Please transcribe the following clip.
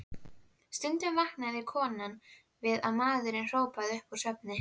Stundum vaknaði konan við að maðurinn hrópaði upp úr svefni: